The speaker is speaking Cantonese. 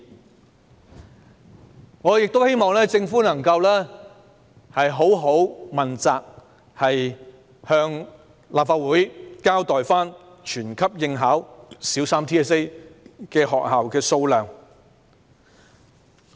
此外，我亦希望政府能認真問責，向立法會交代全級應考小三 BCA 學校的數目。